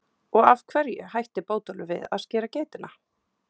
Og af hverju hætti Bótólfur við að skera geitina?